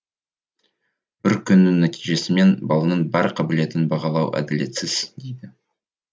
бір күннің нәтижесімен баланың бар қабілетін бағалау әділетсіз дейді